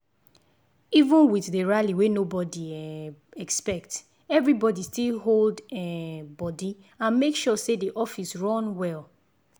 even with the rally wey nobody um expect everybody still hold um body and make sure say the office run well.